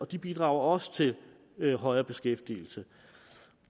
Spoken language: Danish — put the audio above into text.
de bidrager også til højere beskæftigelse